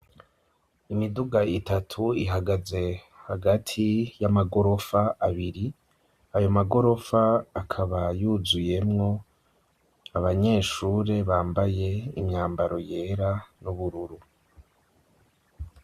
Imiduga itatu ihagaze hagati y'amagorofa abiri, ayo magorofa akaba yuzuyemwo abanyeshure bambaye imyambaro yera n'ubururu.